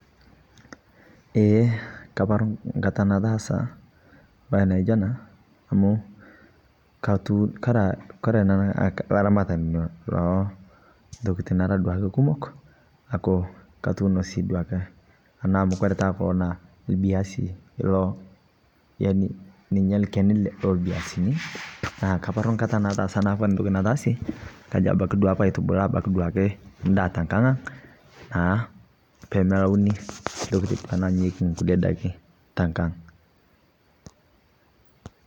Ee kaparu nkataa nataasa mbai naijoo anaa amu Kore nanuu laramatanii lontokitin duake araa kumok aaku katuuno sii abaki duakee ana amu Kore taa kuloo naa lbiazii iloo yani ninye lkenii lelbiazinii naa kaparu nkata nataasa naa Kore ntoki nataasie naa kajo abaki paitubulaa naa abaki duake ndaa tenkang'ang naa pemelaunii ntokitin nanyayieki duake nkulie daki tankang'